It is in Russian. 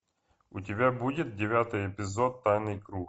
у тебя будет девятый эпизод тайный круг